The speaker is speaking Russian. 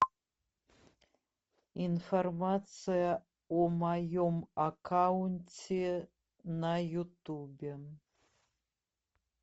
информация о моем аккаунте на ютубе